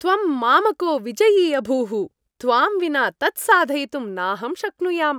त्वं मामको विजयी अभूः! त्वां विना तत् साधयितुं नाहं शक्नुयाम्।